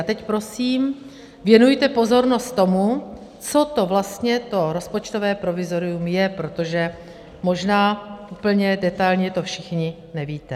A teď prosím věnujte pozornost tomu, co to vlastně to rozpočtové provizorium je, protože možná úplně detailně to všichni nevíte.